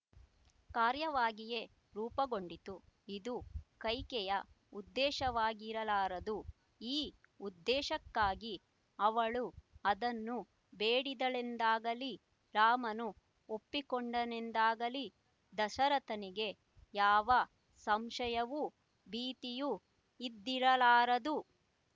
ಕಾರ್ಯವಾಗಿಯೇ ರೂಪಗೊಂಡಿತು ಇದು ಕೈಕೆಯ ಉದ್ದೇಶವಾಗಿರಲಾರದು ಈ ಉದ್ದೇಶಕ್ಕಾಗಿ ಅವಳು ಅದನ್ನು ಬೇಡಿದಳೆಂದಾಗಲಿ ರಾಮನು ಒಪ್ಪಿಕೊಂಡನೆಂದಾಗಲಿ ದಶರಥನಿಗೆ ಯಾವ ಸಂಶಯವೂ ಭೀತಿಯೂ ಇದ್ದಿರಲಾರದು